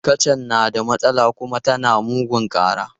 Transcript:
Kacan na da matsala kuma tana mugun ƙara.